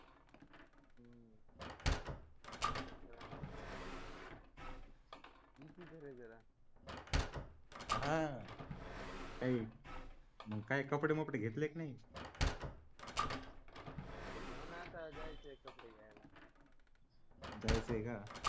हा मग काही कपडे मपडे घेतले की नाही कपडे घेऊन आता जायचे कपडे घ्यायला जायचे का?